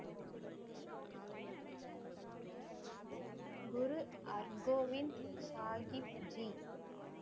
Guru Hargobind Sahibji